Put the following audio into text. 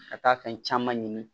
Ka taa fɛn caman ɲini